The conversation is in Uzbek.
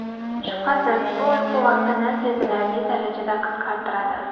Shubhasiz, bu uyqu vaqtini sezilarli darajada qisqartiradi.